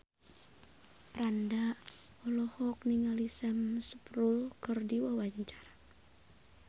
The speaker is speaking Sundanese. Franda olohok ningali Sam Spruell keur diwawancara